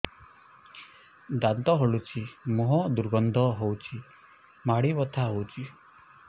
ଦାନ୍ତ ହଲୁଛି ମୁହଁ ଦୁର୍ଗନ୍ଧ ହଉଚି ମାଢି ବଥା ହଉଚି